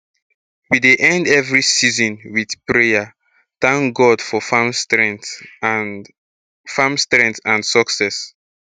we dey end every season with prayer thank god for farm strength and farm strength and success